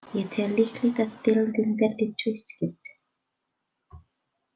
Ég tel líklegt að deildin verði tvískipt.